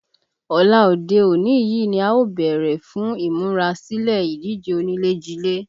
Ọ̀la òde òní yìí ni a ó bẹ̀rẹ̀ fún ìmúra sílè ìdíje onílé-jilé